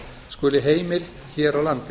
skuli heimil hér á landi